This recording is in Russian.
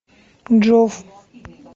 джоф